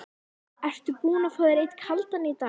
Ertu búinn að fá þér einn kaldan í dag?